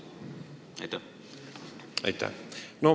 Aitäh!